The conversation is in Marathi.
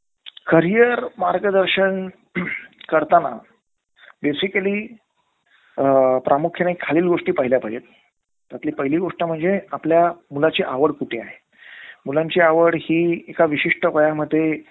career मार्गदर्शन करताना बेसिकली प्रामुख्याने खालील गोष्टी पहिल्या पाहिजेत. त्यातली पहिली गोष्ट म्हणजे आपल्या मुलाची आवड कुठली आहे. मुलांची आवड हि एका विशिष्ट वयामध्ये